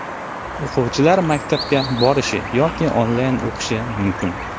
O‘quvchilar maktabga borishi yoki onlayn o‘qishi mumkin.